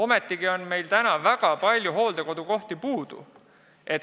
Meil on ju väga palju hooldekodukohti puudu.